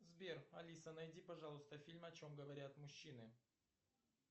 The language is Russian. сбер алиса найди пожалуйста фильм о чем говорят мужчины